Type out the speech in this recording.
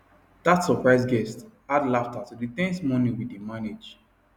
that surprise guest add laughter to the ten se morning we dey manage